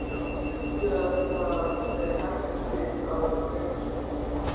En mundu að það er hættuspil að hreyfa sig.